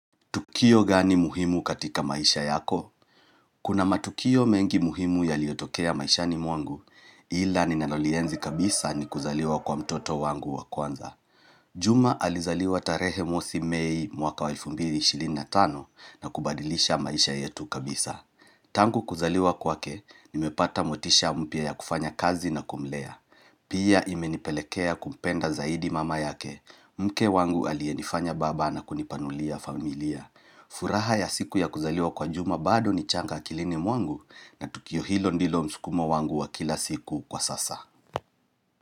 Kio gani muhimu katika maisha yako? Kuna matukio mengi muhimu ya liotokea maisha ni mwangu, ila ni nalolienzi kabisa ni kuzaliwa kwa mtoto wangu wa kwanza. Juma alizaliwa tarehe mosi mei mwaka wa elfu mbili ishirini na tano na kubadilisha maisha yetu kabisa. Tangu kuzaliwa kwake, nimepata motisha mpya ya kufanya kazi na kumlea Pia imenipelekea kumpenda zaidi mama yake Mke wangu alienifanya baba na kunipanulia familia furaha ya siku ya kuzaliwa kwa juma bado ni changa kilini mwangu na tukio hilo ndilo msukumo wangu wa kila siku kwa sasa.